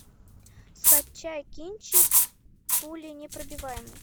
скачай кинчик пуленепробиваемый